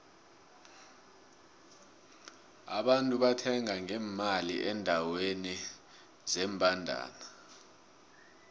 abantu bangena ngemali endeweni zembandana